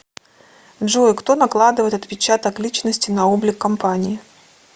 джой кто накладывает отпечаток личности на облик компании